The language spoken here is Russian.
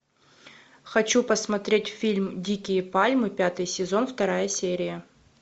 хочу посмотреть фильм дикие пальмы пятый сезон вторая серия